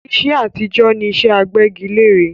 iṣẹ́ àtijọ́ ni iṣẹ́ agbẹ́gilẹ́re